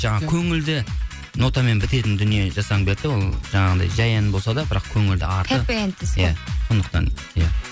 жаңа көңілді нотамен бітетін дүние жасағым келеді де ол жаңағындай жай ән болса да бірақ көңілді арты сондықтан иә